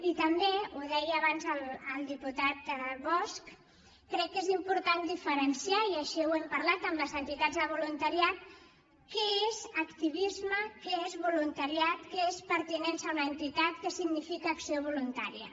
i també ho deia abans el diputat bosch crec que és important diferenciar i així ho hem parlat amb les entitats de voluntariat què és activisme què és voluntariat què és pertinença a una entitat què significa acció voluntària